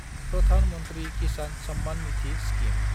Pradhan Mantri Kisan Samman Nidhi scheme